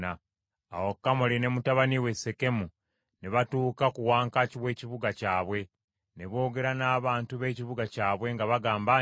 Awo Kamoli ne mutabani we Sekemu ne batuuka ku wankaaki w’ekibuga kyabwe ne boogera n’abantu b’ekibuga kyabwe nga bagamba nti,